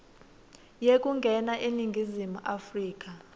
yekungena eningizimu afrika